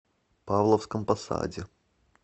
павловском посаде